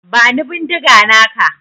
Bani bindiga naka.